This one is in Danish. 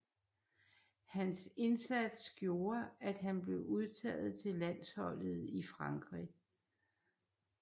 Hans indsats gjorde at han blev udtaget til landsholdet i Frankrig